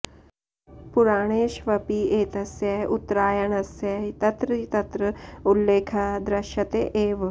पुराणेष्वपि एतस्य उत्तरायणस्य तत्र तत्र उल्लेखः दृश्यते एव